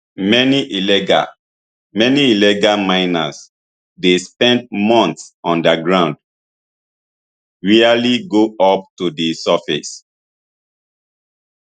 many illegal many illegal miners dey spend months underground rarely go up to di surface